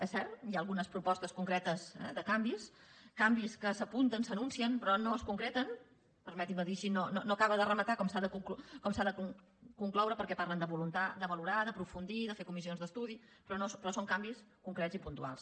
és cert hi ha algunes propostes concretes de canvis canvis que s’apunten s’anuncien però no es concreten permetin me dir ho així no acaben de rematar com s’ha de concloure perquè parlen de valorar d’ aprofundir de fer comissions d’estudi però són canvis concrets i puntuals